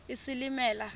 isilimela